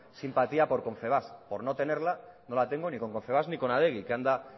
simpatía con confebask por no tenerla no la tengo ni con confebask ni con adegi que anda